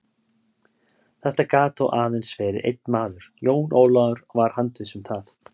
Þetta gat þó aðeins verið einn maður, Jón Ólafur var handviss um það.